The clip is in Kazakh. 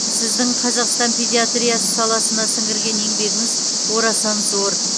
сіздің қазақстан педиатриясы саласына сіңірген еңбегіңіз орасан зор